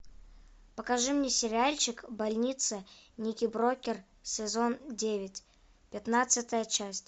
покажи мне сериальчик больница никербокер сезон девять пятнадцатая часть